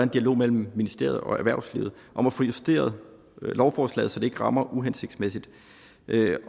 dialog mellem ministeriet og erhvervslivet om at få justeret lovforslaget så det ikke rammer uhensigtsmæssigt